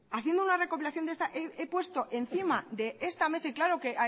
haciendo una recopilación de esta he puesto encima de esta mesa y claro que